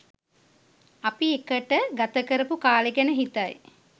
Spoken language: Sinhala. අපි එකට ගත කරපු කාලේ ගැන හිතයි